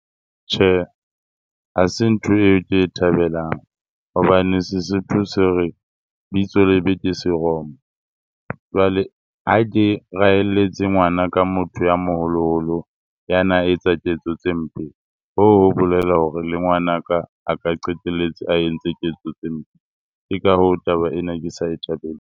Tjhe, ha se ntho eo ke e thabelang hobane Sesotho se re bitso lebe ke seromo. Jwale ha ke raeletse ngwana ka motho ya moholoholo ya na etsa ketso tse mpe hoo ho bolela hore le ngwanaka a ka qetelletse a entse ketso tse mpe. Ke ka hoo, taba ena ke sa e thabeleng.